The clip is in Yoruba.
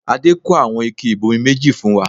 Adé kó àwọn ike ibomi méjì fún wa